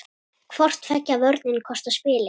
Hvor tveggja vörnin kostar spilið.